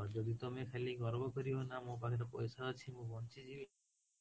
ଆଉ ଯଦି ତମେ ଖାଲି ଗର୍ବ କରିବ ନା ମୋ ପାଖରେ ପଇସା ଅଛି ମୁଁ ବଞ୍ଚି ଯିବି